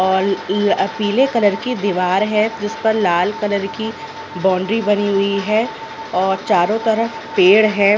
और इ पीले कलर की दीवार हैं जिस पर लाल कलर की बाउंड्री बनी हुई हैं और चारो तरफ पेड़ हैं।